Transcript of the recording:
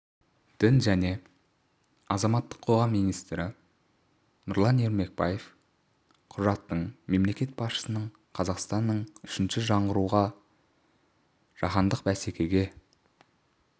дін және азаматтық қоғам істері министрі нұрлан ермекбаев құжаттың мемлекет басшысының қазақстанның үшінші жаңғыруы жаһандық бәсекеге